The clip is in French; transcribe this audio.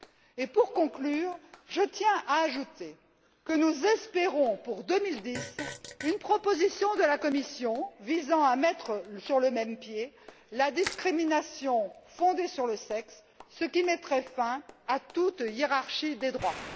Et, pour conclure, je tiens à ajouter que nous espérons, pour 2010, une proposition de la Commission visant à mettre sur le même pied la discrimination fondée sur le sexe, ce qui mettrait fin à toute hiérarchie des droits.